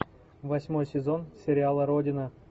восьмой сезон сериала родина